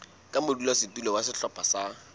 ka modulasetulo wa sehlopha sa